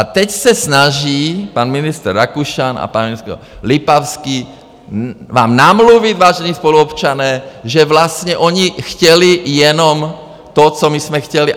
A teď se snaží pan ministr Rakušan a pan ministr Lipavský vám namluvit, vážení spoluobčané, že vlastně oni chtěli jenom to, co my jsme chtěli.